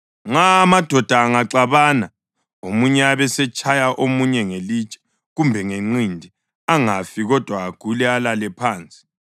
Nxa amadoda angaxabana omunye abesetshaya omunye ngelitshe kumbe ngenqindi, angafi kodwa agule alale phansi,